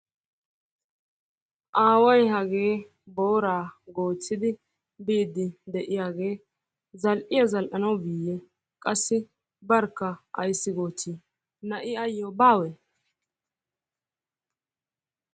Aaway hagee booraa goochidi biidi de'iyagee zal'iya zal'anawu biiyee qassi barkka ayssi goochii? na'i ayoo baawee?